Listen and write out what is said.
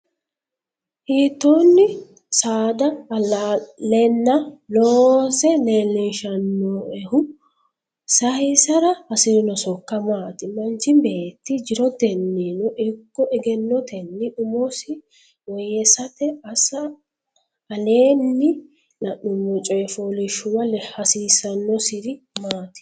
Hiittoonni? Saada allaaleenna, loose leellishannoehu? saysara hasi’rino sokka maati? Manchi beetti jirotennino ikko egennotenni umosi woyyeessate assa Aleenni la’nummo coy fooliishshuwa hasiissannosiri maati?